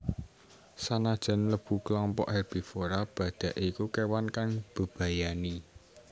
Sanajan mlebu klompok herbivora badhak iku kewan kang mbebayani